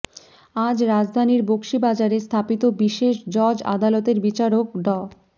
আজ রাজধানীর বকশীবাজারে স্থাপিত বিশেষ জজ আদালতের বিচারক ড